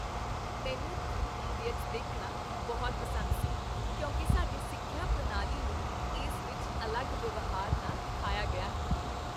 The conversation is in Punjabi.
ਮੈਨੂੰ "ਥ੍ਰੀ ਇਡੀਅਟਸ" ਦੇਖਣਾ ਬਹੁਤ ਪਸੰਦ ਸੀ ਕਿਉਂਕਿ ਸਾਡੀ ਸਿੱਖਿਆ ਪ੍ਰਣਾਲੀ ਨੂੰ ਇਸ ਵਿੱਚ ਅਲੱਗ ਵਿਵਹਾਰ ਨਾਲ ਦਿਖਾਇਆ ਗਿਆ ਹੈ